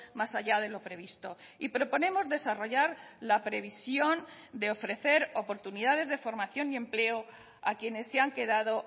más allá de lo previsto y proponemos desarrollar la previsión de ofrecer oportunidades de formación y empleo a quienes se han quedado